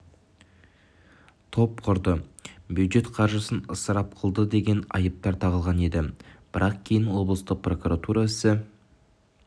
топ құрды бюджет қаржысын ысырап қылды деген айыптар тағылған еді бірақ кейін облыстық прокуратура істі